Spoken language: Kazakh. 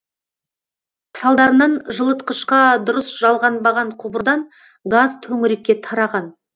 салдарынан жылытқышқа дұрыс жалғанбаған құбырдан газ төңірекке тараған